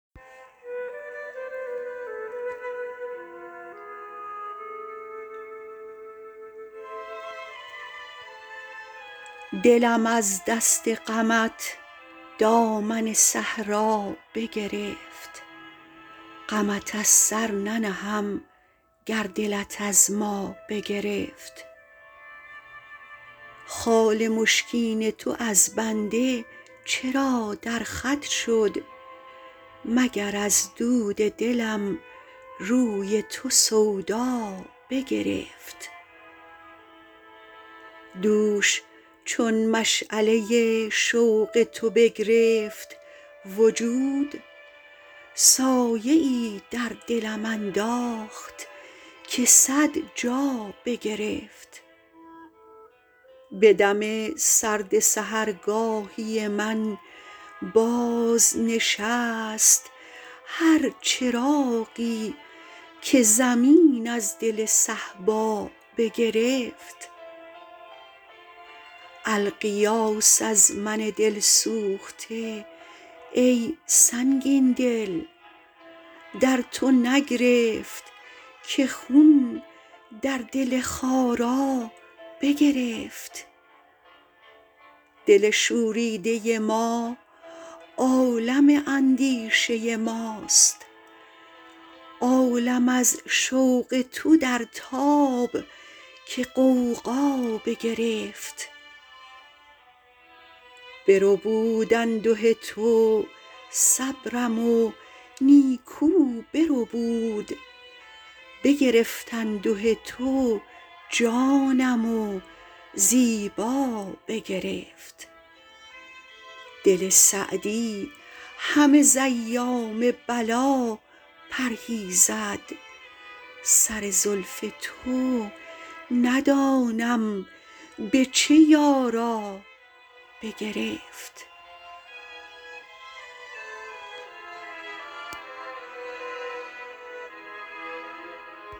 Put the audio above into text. دلم از دست غمت دامن صحرا بگرفت غمت از سر ننهم گر دلت از ما بگرفت خال مشکین تو از بنده چرا در خط شد مگر از دود دلم روی تو سودا بگرفت دوش چون مشعله شوق تو بگرفت وجود سایه ای در دلم انداخت که صد جا بگرفت به دم سرد سحرگاهی من بازنشست هر چراغی که زمین از دل صهبا بگرفت الغیاث از من دل سوخته ای سنگین دل در تو نگرفت که خون در دل خارا بگرفت دل شوریده ما عالم اندیشه ماست عالم از شوق تو در تاب که غوغا بگرفت بربود انده تو صبرم و نیکو بربود بگرفت انده تو جانم و زیبا بگرفت دل سعدی همه ز ایام بلا پرهیزد سر زلف تو ندانم به چه یارا بگرفت